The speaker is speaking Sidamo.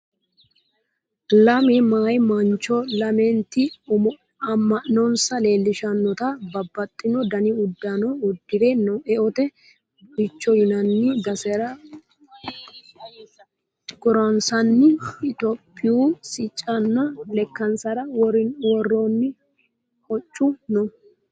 Lame meya maancho lamenti ama'nonsa leellishshannota babbaxino Dani uddano uddire eote buicho yinanni basera guransaanni ithiophiyu siccinna lekkansara woronni hoccu no